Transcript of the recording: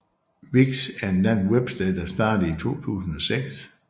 Vix er en dansk websted der startede i 2006